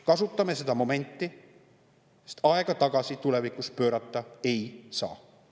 Kasutame seda momenti, sest tulevikus aega tagasi pöörata ei saa.